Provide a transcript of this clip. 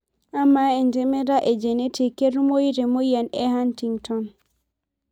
Amaa etemata e genetic naketumoyu temoyian e Huntington?